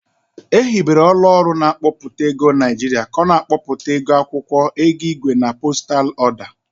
Ehibere ọlụ ọrụ na-akpọ ego Niajịrịa ka ọ na-akpọpụta ego akwọkwọ, ego igwe na postal ọda.